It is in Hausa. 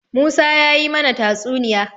Musa ya yi mana tatsuniya.